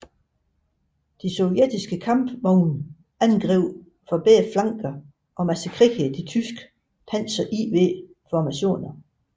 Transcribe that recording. De sovjetiske kampvogne angreb fra begge flanker og massakrerede de tyske Panzer IV formationer